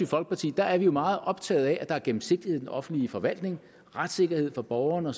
folkeparti er er vi meget optagede af at der er gennemsigtighed i den offentlige forvaltning retssikkerhed for borgerne